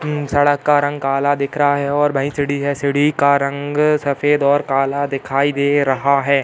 अम् सड़क का रंग काला दिख रहा है और वहीं सीढ़ी है। सीढ़ी का रंग सफ़ेद और काला दिखाई दे रहा है।